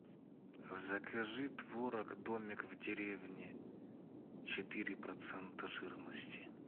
закажи творог домик в деревне четыре процента жирности